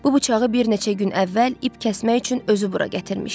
Bu bıçağı bir neçə gün əvvəl ip kəsmək üçün özü bura gətirmişdi.